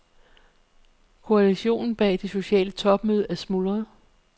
Koalitionen bag det sociale topmøde er smuldret.